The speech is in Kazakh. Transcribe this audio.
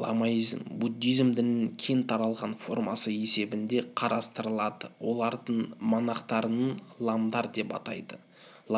ламаизм буддизм дінінің кең таралған формасы есебінде қарастырылады олардың монахтарын ламдар деп атайды